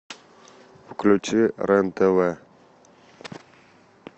включи рен тв